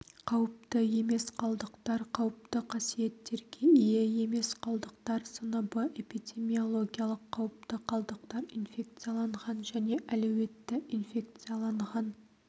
қауіпті емес қалдықтар қауіпті қасиеттерге ие емес қалдықтар сыныбы эпидемиологиялық қауіпті қалдықтар инфекцияланған және әлеуетті инфекцияланған